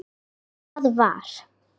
Þar var